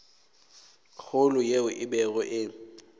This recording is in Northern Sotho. kgolo yeo e bego e